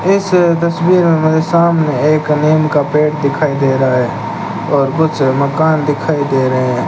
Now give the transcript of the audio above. इस तस्वीर में सामने एक नीम का पेड़ दिखाई दे रहा है और कुछ मकान दिखाई दे रहे हैं।